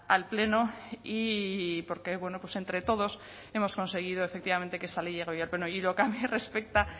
al pleno y porque entre todos hemos conseguido efectivamente que esta ley llegue hoy al pleno y en lo que a mí respecta